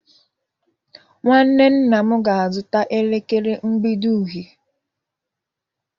Nwanne nna m ga-azụta elekere mgbidi uhie